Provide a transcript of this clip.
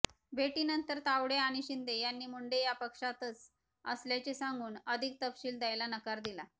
भेटीनंतर तावडे आणि शिंदे यांनी मुंडे या पक्षातच असल्याचे सांगून अधिक तपशिल द्यायला नकार दिला